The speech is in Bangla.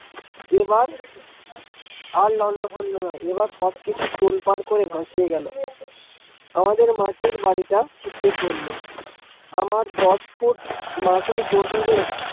এবার আর লন্ড ভন্ড নয় এবার সব কিছু তোলপাড় করে ভাসিয়ে গেল আমাদের মাটির বাড়ি টা সিথিয়ে পরল আমার দশ ফুট মাটির গভিরে।